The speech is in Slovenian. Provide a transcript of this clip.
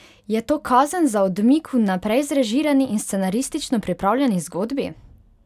Je to kazen za odmik v naprej zrežirani in scenaristično pripravljeni zgodbi?